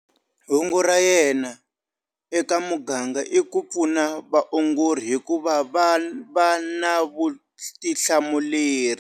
Hungu ra yena eka muganga i ku pfuna vaongori hikuva va va na vutihlamuleri.